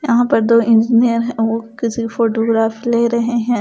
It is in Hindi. यहां पर दो इंजीनियर वो किसी फोटोग्राफी ले रहे हैं ।